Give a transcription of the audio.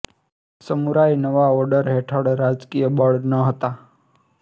samurai નવા order હેઠળ રાજકીય બળ ન હતાં